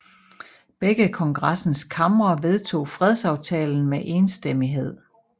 Begge kongressens kamre vedtog fredsaftalen med enstemmighed